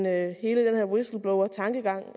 at hele den her whistleblowertankegang